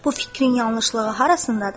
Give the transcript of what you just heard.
Bu fikrin yanlışlığı harasındadır?